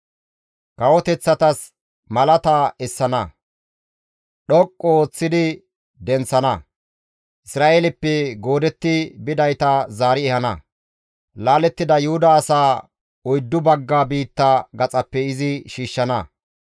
Kawoteththatas malaata essana; dhoqqu ooththidi denththana; Isra7eeleppe goodetti bidayta zaari ehana; laalettida Yuhuda asaa oyddu bagga biitta gaxappe izi shiishshana.